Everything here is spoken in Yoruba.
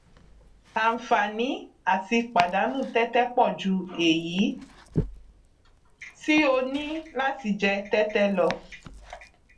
àǹfààní àti pàdánù tẹtẹ pọ ju èyí tí o ní láti jẹ tẹtẹ lọ